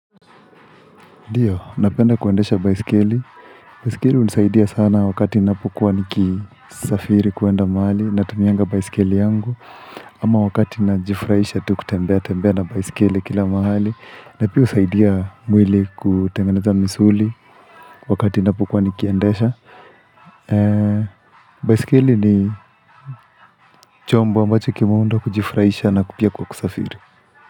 Ndio, napenda kuendesha baisikeli. Baisikeli hunisaidia sana wakati ninapokuwa nikisafiri kuenda mahali natumianga baisikeli yangu. Ama wakati najifurahisha tu kutembea tembea na baisikeli kila mahali. Na pia husaidia mwili kutengeneza misuli wakati ninapokuwa nikiendesha. Baisikeli ni chombo ambacho kimuundwa kujifurahisha na kwa pia kwa kusafiri.